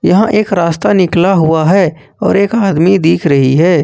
यहां एक रास्ता निकाला हुआ है और एक आदमी दिख रही है।